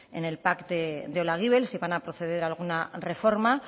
en el pac de olaguibel si van a proceder a alguna reforma